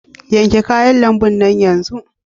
Yanke kayan lambun nan yanzu!